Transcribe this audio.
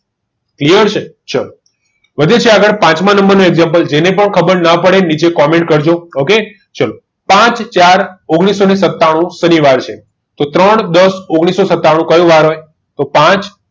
clear છે ચાલો વધુમાં પાંચમા નંબરનું example જેને પણ ખબર ના પડે એને નીચે comment કરજો oayk સાત ચાર ઓગણીસો ને સત્તાણુ શનિવાર છે તો ત્રણ દસ ઓગણીસોને સત્તાણુ કયો વાર હોય તો પાંચ